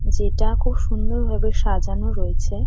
যেটা খুব সুন্দর ভাবে সাজানো রয়েছে।